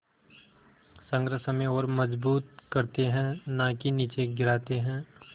संघर्ष हमें और मजबूत करते हैं नाकि निचे गिराते हैं